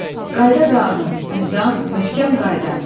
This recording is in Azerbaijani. Qayda-qanun, nizam, möhkəm qayda.